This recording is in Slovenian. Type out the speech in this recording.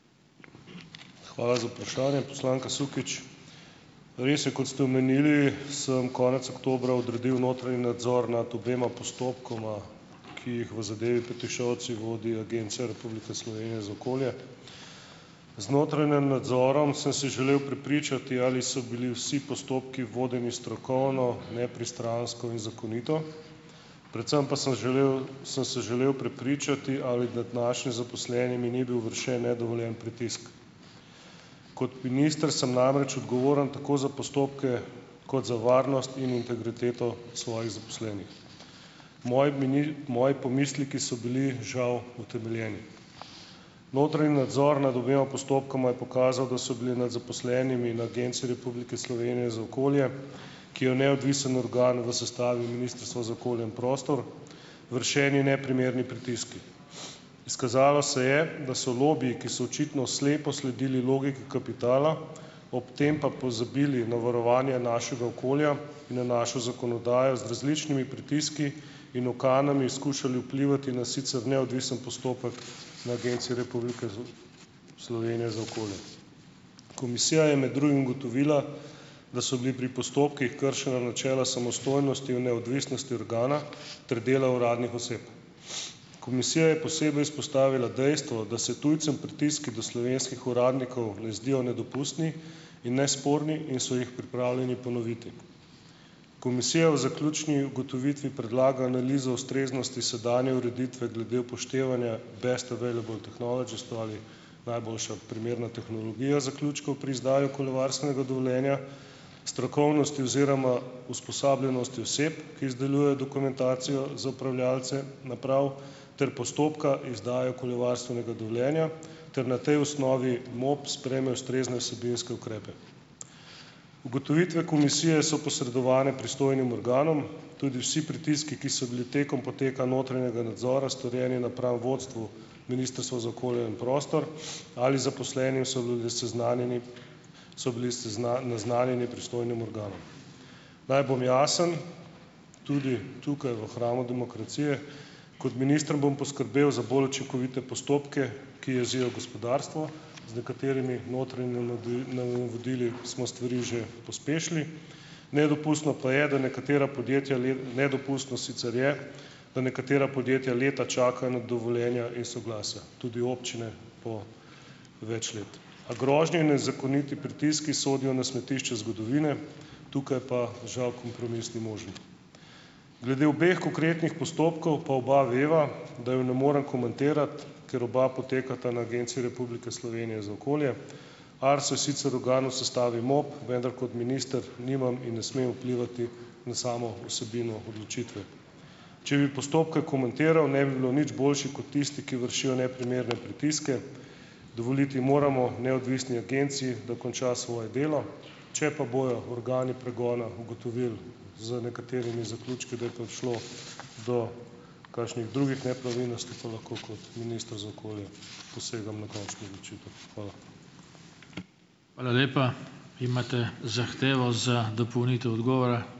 Hvala za vprašanje, poslanka Sukič. Res je, kot ste omenili, sem konec oktobra odredil notranji nadzor nad obema postopkoma, ki jih v zadevi Petišovci vodi Agencija Republike Slovenije za okolje. Z notranjem nadzorom sem se želel prepričati, ali so bili vsi postopki vodeni strokovno, nepristransko in zakonito, predvsem pa sem želel sem se želel prepričati, ali nad našim zaposlenimi ni bil vršen nedovoljen pritisk. Kot minister sem namreč odgovoren tako za postopke kot za varnost in integriteto svojih zaposlenih. Moji moji pomisleki so bili žal utemeljeni. Notranji nadzor nad obema postopkoma je pokazal, da so bili med zaposlenimi na Agenciji Republike Slovenije za okolje, ki je neodvisen organ v sestavi Ministrstva za okolje in prostor, vršeni neprimerni pritiski. Izkazalo se je, da so lobiji, ki so očitno slepo sledili logiki kapitala, ob tem pa pozabili na varovanje našega okolja, in na našo zakonodajo z različnimi pritiski in ukanami skušali vplivati na sicer neodvisen postopek na Agenciji Republike za Slovenije za okolje. Komisija je med drugim ugotovila, da so bili pri postopkih kršena načela samostojnosti in neodvisnosti organa ter dela uradnih oseb. Komisija je posebej izpostavila dejstvo, da se tujcem pritiski do slovenskih uradnikov ne zdijo nedopustni in nesporni in so jih pripravljeni ponoviti. Komisija v zaključni ugotovitvi predlaga analizo ustreznosti sedanje ureditve glede upoštevanja best available technology, se pravi najboljša primerna tehnologija zaključkov pri izdaji okoljevarstvenega dovoljenja, strokovnosti oziroma usposobljenosti oseb, ki izdelujejo dokumentacijo za upravljavce naprav, ter postopka izdaje okoljevarstvenega dovoljenja ter na tej osnovi MOP sprejme ustrezne vsebinske ukrepe. Ugotovitve komisije so posredovane pristojnim organom, tudi vsi pritiski, ki so bili tekom poteka notranjega nadzora storjeni napram vodstvu Ministrstva za okolje in prostor ali zaposlenim, so bolj seznanjeni so bili naznanjeni pristojnim organom. Naj bom jasen. Tudi tukaj, v hramu demokracije, kot minister bom poskrbel za bolj učinkovite postopke, ki jezijo gospodarstvo, z nekaterimi notranjimi navodili smo stvari že pospešili. Nedopustno pa je, da nekatera podjetja nedopustno sicer je, da nekatera podjetja leta čakajo na dovoljenja in soglasja. Tudi občine po več let. A grožnje in nezakoniti pritiski sodijo na smetišče zgodovine, tukaj pa žal kompromis ni možen. Glede obeh konkretnih postopkov pa oba veva, da ju ne morem komentirati, ker oba potekata na Agenciji Republike Slovenije za okolje. Arso je sicer organ sestavi MOP, vendar kot minister nimam in ne smem vplivati na samo vsebino odločitve. Če bi postopke komentiral, ne bi bilo nič boljše kot tisti, ki vršijo neprimerne pritiske. Dovoliti moramo neodvisni agenciji, da konča svoje delo, če pa bojo organi pregona ugotovili z nekaterimi zaključki, da je prišlo do kakšnih drugih nepravilnosti, pa lahko kot minister za okolje posegam na končno odločitev. Hvala.